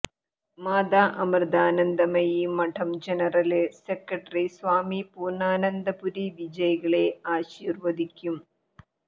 മാതാ Amritanandamayi Math general secretary Swami Poornanandapuri വിജയികളെ ആശീര്വദിക്കും